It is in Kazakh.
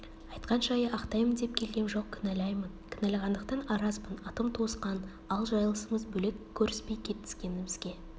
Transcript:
айтқан жайы ақтаймын деп келгем жоқ кінәлаймын кінәлағандықтан аразбын атым туысқан ал жайылысымыз бөлек көріспей кетіскенімізге